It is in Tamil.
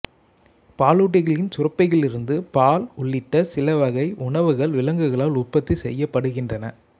பாலூட்டிகளின் சுரப்பிகளிலிருந்து பால் உள்ளிட்ட சிலவகை உணவுகள் விலங்குகளால் உற்பத்தி செய்யப்படுகின்றன